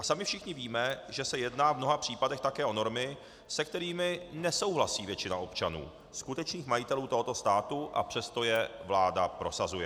A sami všichni víme, že se jedná v mnoha případech také o normy, se kterými nesouhlasí většina občanů, skutečných majitelů tohoto státu, a přesto je vláda prosazuje.